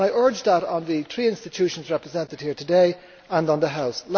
I urge that on the three institutions represented here today and on the House.